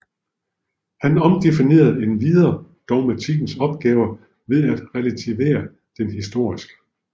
Han omdefinerede endvidere dogmatikkens opgave ved at relativere den historisk